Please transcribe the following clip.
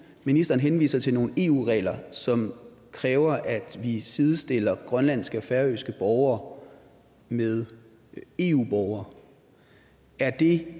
ministeren henviser til nogle eu regler som kræver at vi sidestiller grønlandske og færøske borgere med eu borgere er det